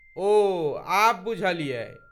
ओ, आब बुझलियै।